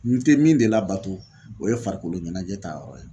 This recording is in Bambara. N te min de labato, o ye farikolo ɲɛnajɛ ta yɔrɔ ye .